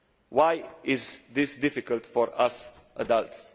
Why is this difficult for us adults?